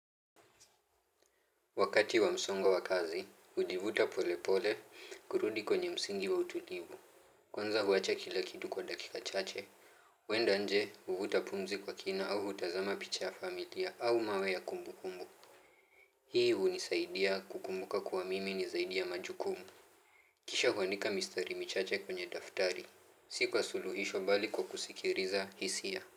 Wakati wa msongo wa wakazi, hujivuta polepole kurudi kwenye msingi wa utulivu. Kwanza huwacha kila kitu kwa dakika chache. Huenda nje huvuta pumzi kw akina au hutazama picha ya familia au mawe ya kumbukumbu hii hunisaidia kukumbuka kuamini ni zaidi ya majukumu kisha huandika mistari michache kwenye daftari si kwa suluhisho bali kwa kusikiliza hisia.